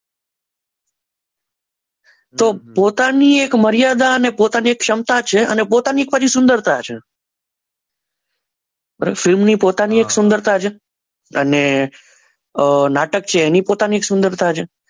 તો પોતાની એક મર્યાદા અને પોતાની એક ક્ષમતા છે અને પોતાની પરી સુંદરતા છે અને ફિલ્મની એક પોતાની સુંદરતા છે અને નાટક છે એની પોતાની સુંદરતા છે.